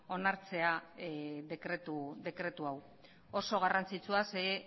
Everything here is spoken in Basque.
onartzea dekretu hau oso garrantzitsua zeren